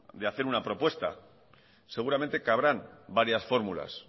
de hacer una propuesta seguramente cabrán varias fórmulas